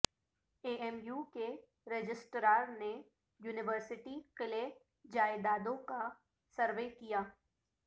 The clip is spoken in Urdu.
اے ایم یو کے رجسٹرار نے یونیورسٹی قلعہ جائیدادوں کا سروے کیا